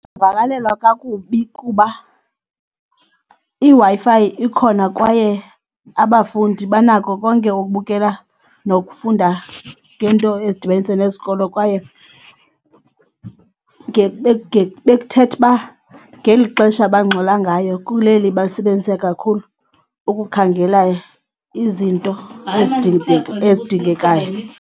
Ndingavakalelwa kakubi kuba iWi-Fi ikhona kwaye abafundi banako konke ukubukela nokufunda ngento ezidibanisa nesikolo kwaye bekuthetha uba ngeli xesha bangxola ngayo kuleli balisebenzise kakhulu ukukhangela izinto ezidingekayo.